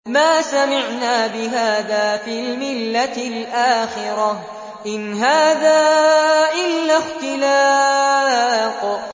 مَا سَمِعْنَا بِهَٰذَا فِي الْمِلَّةِ الْآخِرَةِ إِنْ هَٰذَا إِلَّا اخْتِلَاقٌ